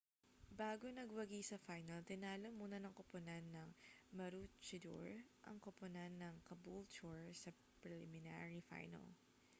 bago nagwagi sa final tinalo muna ng koponan ng maroochydore ang koponan ng caboolture sa preliminary final